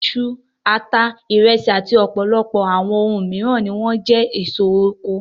Iṣu, ata, ìrẹsì àti ọ̀pọ̀lọpọ̀ àwọn ohun mìíràn ni wọ́n jẹ́ àwọn èso oko.